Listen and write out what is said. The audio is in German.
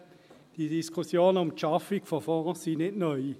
Diese Diskussionen um die Schaffung von Fonds sind nicht neu.